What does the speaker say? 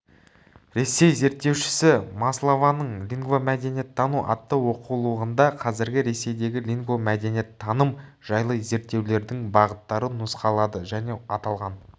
ресей зерттеушісі маслованың лингвомәдениеттану атты оқулығында қазіргі ресейдегі лингвомәдениеттаным жайлы зерттеулердің бағыттары нұсқалады және аталған